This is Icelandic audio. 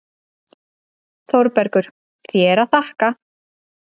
ÞÓRBERGUR: Þér að þakka!